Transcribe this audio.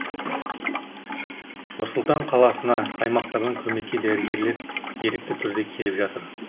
нұр сұлтан қаласына аймақтардан көмекке дәрігерлер ерікті түрде келіп жатыр